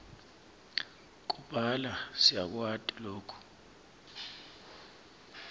kubhala siyakwati loku